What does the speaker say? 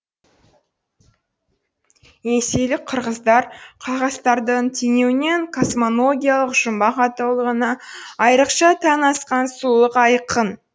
енисейлік қырғыздар хақастардың теңеуінен космоногиялық жұмбақ атаулығына айрықша тән асқан сұлулық айқын